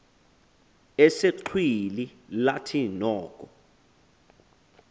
esexhwili lathi noko